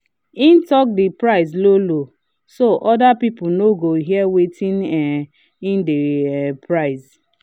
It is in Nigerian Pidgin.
he talk the price low-low so other people no go hear wetin um him dey um price.